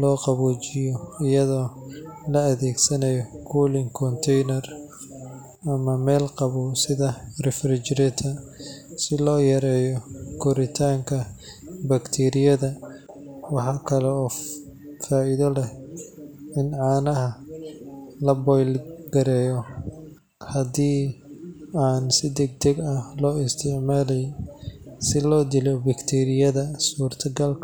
loo qaboojiyo iyada oo la gelinayo cooling container ama meel qabow sida refrigerator, si loo yareeyo koritaanka bakteeriyada. Waxa kale oo faa’iido leh in caanaha la boil gareeyo haddii aan si degdeg ah loo isticmaalayn, si loo dilo bakteeriyada suurtagalka.